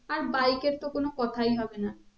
আর bike এর তো কোনো কথাই হবে না